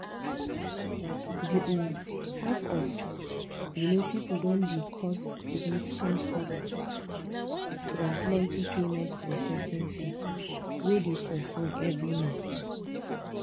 the um half of um people don dey cause significant costs from plenty payment processing fees wey dey for phone every month.